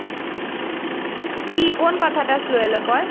কি কোন কথাটা slow এলো বল?